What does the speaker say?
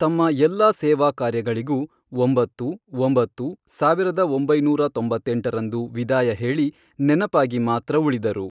ತಮ್ಮಎಲ್ಲ ಸೇವಾ ಕಾರ್ಯಗಳಿಗೂ, ಒಂಬತ್ತು, ಒಂಬತ್ತು, ಸಾವಿರದ ಒಂಬೈನೂರ ತೊಂಬತ್ತೆಂಟರಂದು ವಿದಾಯ ಹೇಳಿ ನೆನಪಾಗಿ ಮಾತ್ರ ಉಳಿದರು.